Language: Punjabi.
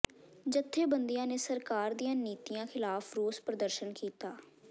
ਜਥੇਬੰਦੀਆਂ ਨੇ ਸਰਕਾਰ ਦੀਆਂ ਨੀਤੀਆਂ ਖ਼ਿਲਾਫ਼ ਰੋਸ ਪ੍ਰਦਰਸ਼ਨ ਕੀਤਾ